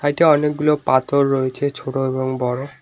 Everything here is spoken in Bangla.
সাইড -এ অনেকগুলো পাথর রয়েছে ছোট এবং বড়।